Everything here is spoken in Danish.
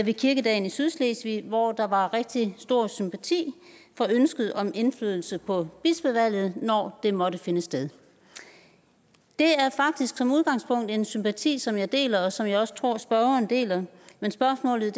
ved kirkedagen i sydslesvig hvor der var rigtig stor sympati for ønsket om indflydelse på bispevalget når det måtte finde sted det er faktisk som udgangspunkt en sympati som jeg deler og som jeg også tror at spørgeren deler men spørgsmålet